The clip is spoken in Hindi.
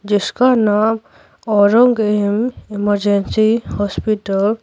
जिसका नाम औरंग एम इमरजेंसी हॉस्पिटल --